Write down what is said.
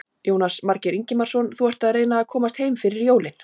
Jónas Margeir Ingimarsson: Þú ert að reyna að komast heim fyrir jólin?